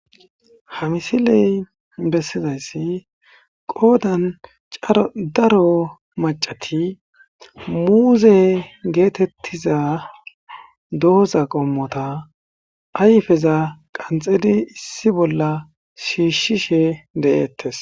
ha misiley bessizayssi qoodan daro macati muuze geetettiza dooza qommota ayfeza qanxedi issi bolla shiishshishe de'eettes.